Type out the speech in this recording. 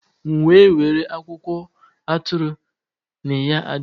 M’we were akwụkwọ atụrụ n’Iya Ade.